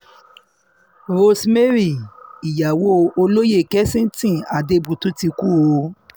Rosemary ìyàwó olóyè olóyè kessignton adebutu ti kú o